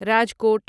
Rajkot